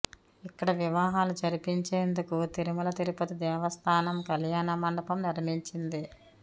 ఇక్కడ వివాహాలు జరిపించేందుకు తిరుమల తిరుపతి దేవస్థానం కళ్యాణ మండపం నిర్మించింది